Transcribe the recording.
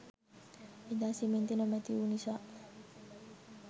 එදා සිමෙන්ති නොමැති වූ නිසා